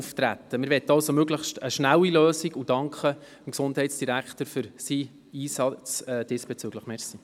Wir möchten also eine möglichst schnelle Lösung und danken dem Gesundheitsdirektor für seinen diesbezüglichen Einsatz.